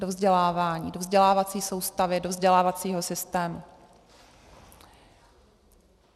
Do vzdělávání, do vzdělávací soustavy, do vzdělávacího systému.